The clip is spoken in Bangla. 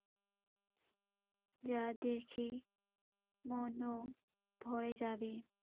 যা দেখেই মনও ভরে যাবে।